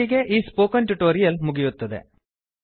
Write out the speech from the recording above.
ಇಲ್ಲಿಗೆ ಈ spoken tutorial ಮುಗಿಯುತ್ತದೆ